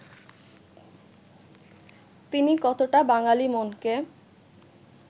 তিনি কতটা বাঙালি মনকে